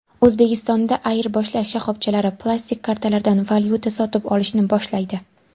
O‘zbekistonda ayirboshlash shoxobchalari plastik kartalardan valyuta sotib olishni boshlaydi.